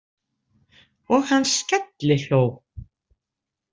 Og hann skellihló.